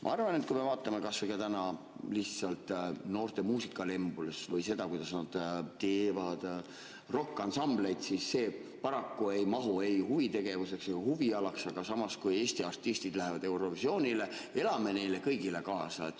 Ma arvan, et kui me vaatame kas või täna lihtsalt noorte muusikalembust või seda, kuidas nad teevad rokkansambleid, siis see paraku ei mahu ei huvitegevuse ega huviala alla, aga kui Eesti artistid lähevad Eurovisioonile, siis elame neile kõigile kaasa.